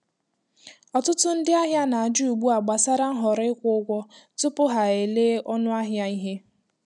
Ọtụtụ ndị ahịa na-ajụ ugbu a gbasara nhọrọ ịkwụ ụgwọ tupu ha elee ọnụ ahịa ihe.